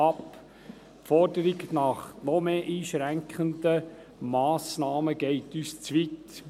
Die Forderung nach weiteren einschränkenden Massnahmen geht uns zu weit.